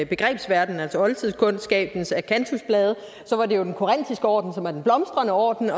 begrebsverden altså oldtidskundskabens akantusblade var det jo den korintiske orden der var den blomstrende orden